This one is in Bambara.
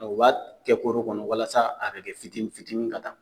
U b'a kɛ koro kɔnɔ walasa a bɛ kɛ fitiini fitiini ka taa